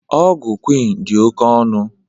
Ọgwụ Quinn dị oke ọnụ